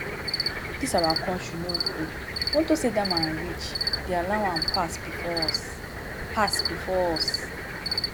dis our country no good. unto say dat man rich they allow am pass before us pass before us